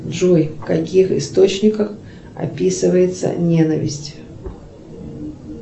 джой в каких источниках описывается ненависть